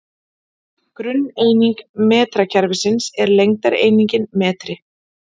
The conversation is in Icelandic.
Grunneining metrakerfisins er lengdareiningin metri.